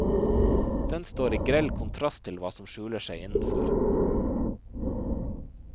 Den står i grell kontrast til hva som skjuler seg innenfor.